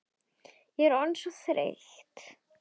Ég er orðin svo þreytt.